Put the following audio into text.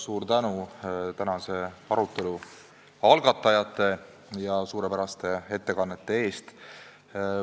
Suur tänu tänase arutelu algatajatele ja ettekandjatele suurepäraste ettekannete eest!